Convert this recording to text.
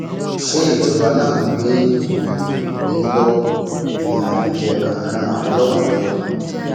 ṣé ìjọba náà ló gbé ìwọnyí lé yín lọwọ ni àbí ẹ kàn ń ran àwọn ọlọpàá lọwọ ni